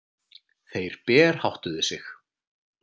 Þeir berháttuðu sig.